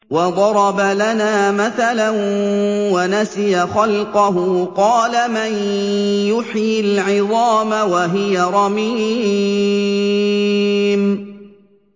وَضَرَبَ لَنَا مَثَلًا وَنَسِيَ خَلْقَهُ ۖ قَالَ مَن يُحْيِي الْعِظَامَ وَهِيَ رَمِيمٌ